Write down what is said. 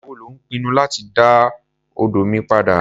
Ìgbà wo lò ń pinnu láti dá odó mi padà?